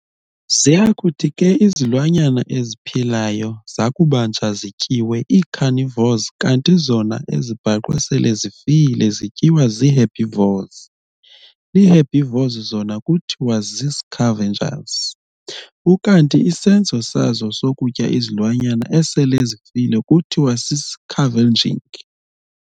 Ziyakuthi ke izilwanyana eziphilayo zakubanjwa zityiwe ii-carnivores kanti zona ezibhaqwe sele zifile zityiwa zii-herbivores. Ii-herbivores zona kuthiwa zii-scavengers, ukanti isenzo sazo sokutya izilwanyana esele zifile kuthiwa sisi-scavenging.